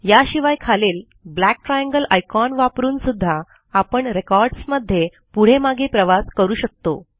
याशिवाय खालील black triangle icon वापरून सुध्दा आपण रेकॉर्ड्स मध्ये पुढे मागे प्रवास करू शकतो